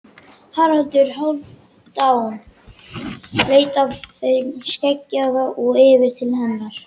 Haraldur Hálfdán leit af þeim skeggjaða og yfir til hennar.